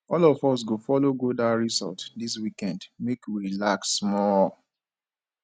all of us go folo go dat resort dis weekend make we relax small